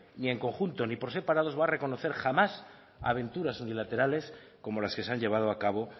ni en conjunto ni por separado os va a reconocer jamás aventuras unilaterales como las que se han llevado a cabo